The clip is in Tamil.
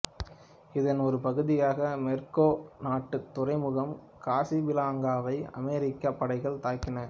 இதன் ஒரு பகுதியாக மொரோக்கோ நாட்டுத் துறைமுகம் காசாபிளாங்காவை அமெரிக்கப் படைகள் தாக்கின